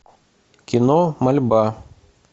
кино мольба